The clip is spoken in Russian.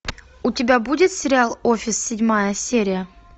у тебя будет сериал офис седьмая серия